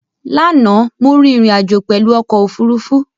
Láànà, mo rín ìrìn àjò pèlu okò òfurufú